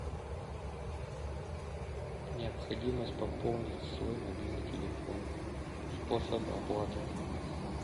необходимость пополнить свой мобильный телефон способы оплаты